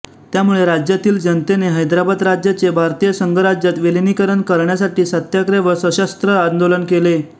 त्यामुळे राज्यातील जनतेने हैदराबाद राज्याचे भारतीय संघराज्यात विलिनीकरण करण्यासाठी सत्याग्रह व सशस्त्र आंदोलन केले